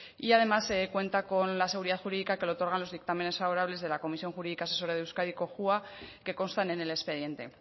y además cuenta con la seguridad jurídica que le otorgan los dictámenes favorables de la comisión jurídica asesora de euskadi cojua que constan en el expediente